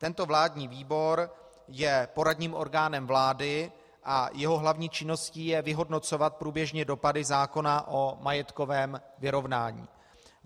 Tento vládní výbor je poradním orgánem vlády a jeho hlavní činností je vyhodnocovat průběžně dopady zákona o majetkovém vyrovnání.